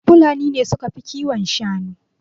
Fulani ne suka fi kiwon shanu.